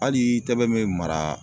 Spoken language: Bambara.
Hali i tɛbɛn me mara